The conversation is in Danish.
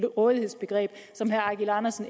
rådighedsbegreb som herre eigil andersen